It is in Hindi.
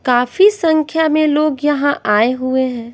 काफी संख्या में लोग यहां आए हुए हैं।